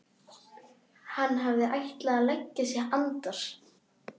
Hann hafði ætlað að leggja sig andar